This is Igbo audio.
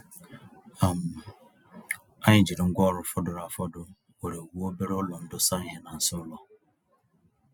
um Anyị jiri ngwá ọrụ fọdụrụ afọdụ were wuo obere ụlọ ndosa ìhè n'azụ ụlọ.